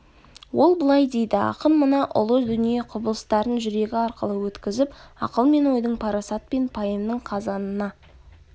ол былай дейді ақын мына ұлы дүние құбылыстарын жүрегі арқылы өткізіп ақыл мен ойдың парасат пен пайымның казанына